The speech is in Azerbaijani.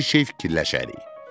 Bir şey fikirləşərik.